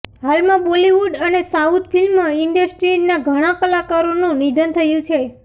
હાલમાં બોલીવૂડ અને south film ઈન્ડસ્ટ્રીના ઘણા કલાકારોનું નિધન થયું છે